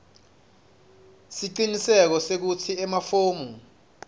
siciniseko sekutsi emafomu